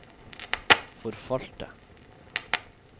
forfalte